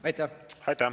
Aitäh!